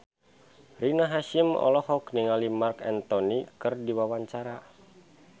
Rina Hasyim olohok ningali Marc Anthony keur diwawancara